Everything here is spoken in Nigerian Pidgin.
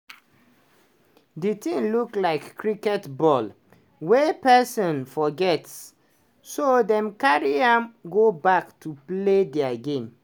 di tin look like cricket ball wey person forget so dem carry am go back to play dia game.